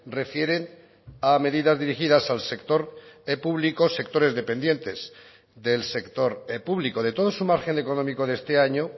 refieren a medidas dirigidas al sector público sectores dependientes del sector público de todo su margen económico de este año